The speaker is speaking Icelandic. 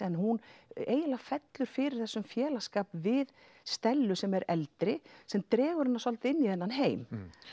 en hún eiginlega fellur fyrir þessum félagsskap við Stellu sem er eldri sem dregur hana svolítið inn í þennan heim